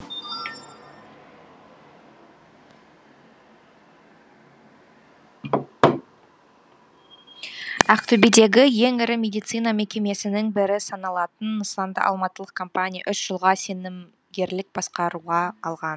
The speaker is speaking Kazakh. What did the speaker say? ақтөбедегі ең ірі медицина мекемесінің бірі саналатын нысанды алматылық компания үш жылға сенімгерлік басқаруға алған